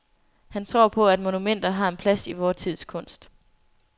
Han tror på, at monumenter har en plads i vor tids kunst.